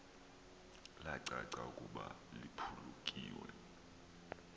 lacaca ukuba liphulukiwe